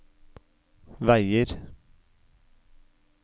veier